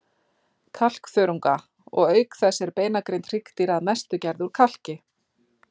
kalkþörunga, og auk þess er beinagrind hryggdýra að mestu gerð úr kalki.